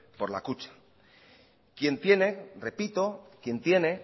por la kutxa quien tiene repito quien tiene